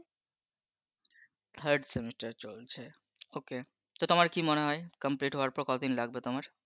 third semester চলছে okay তো তোমার কি মনে হয়ে complete হবার পর কত দিন লাগবে তোমার